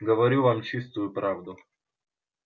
говорю вам чистую правду